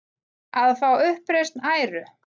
Að fá uppreisn æru